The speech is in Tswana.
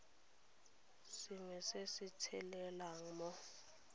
sengwe se se tshelelang mo